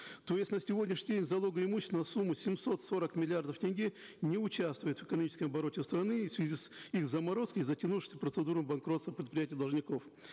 то есть на сегодняшний день залоговое имущество на сумму семьсот сорок миллиардов тенге не участвует в экономическом обороте страны в связи с их заморозкой и затянувшейся процедурой банкротства предприятий должников